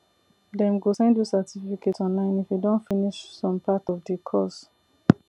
dem go send you certificate online if you don finish some part of the course